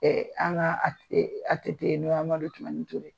an ka ATT n'o ye Amadu Tumani TURE ye